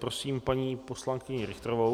Prosím paní poslankyni Richterovou.